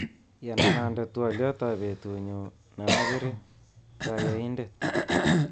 Yanan ande twoliotab betunyu neakere kayaindet